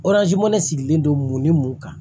ne sigilen don mun ni mun kan